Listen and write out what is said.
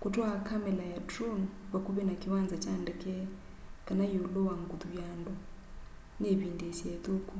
kutwaa kamela ya drone vakuvi na kiwanza kya ndeke kana iulu wa nguthu ya andu ni ivindiisya ithuku